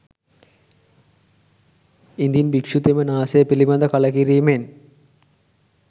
ඉදින් භික්‍ෂුතෙම නාසය පිළිබඳ කලකිරීමෙන්